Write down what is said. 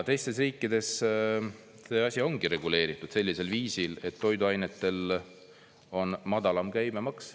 Teistes riikides see asi ongi reguleeritud sellisel viisil, et toiduainetel on madalam käibemaks.